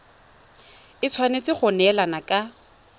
e tshwanetse go neelana ka